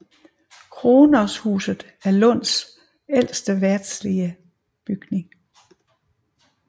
Krognoshuset er Lunds ældste verdslige bygning